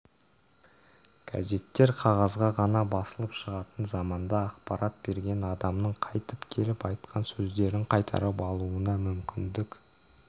газеттер қағазға ғана басылып шығатын заманда ақпарат берген адамның қайтып келіп айтқан сөздерін қайтарып алуына мүмкіндік